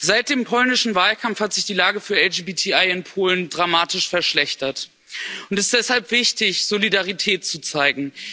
Seit dem polnischen Wahlkampf hat sich die Lage für LGBTI in Polen dramatisch verschlechtert, und es ist deshalb wichtig, Solidarität zu zeigen.